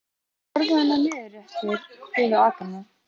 Horfðu þarna niður eftir yfir akrana.